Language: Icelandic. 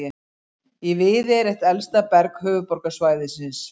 Í Viðey er eitt elsta berg höfuðborgarsvæðisins.